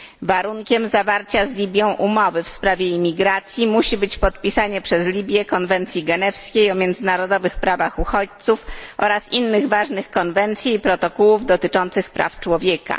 Warunkiem zawarcia z Libią umowy w sprawie imigracji musi być podpisanie przez Libię Konwencji Genewskiej o międzynarodowych prawach uchodźców oraz innych ważnych konwencji i protokołów dotyczących praw człowieka.